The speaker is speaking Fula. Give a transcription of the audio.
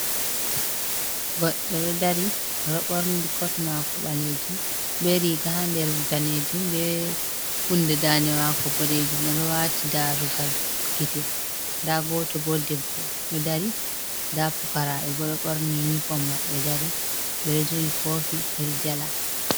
Goɗɗo ɗo dari, ɗo ɓorni kot maako ɓaleejum be riiga haa nder daneejum ,be hunde daande maako boɗeejum. Ɓe ɗo waati darugal gite. Ndaa gooto bo debbo, ɗo dari ndaa pukaaraɓe bo ,ɗo ɓorni inifom maɓɓe dari, ɓe ɗo jogi koofi ɓe ɗo njala.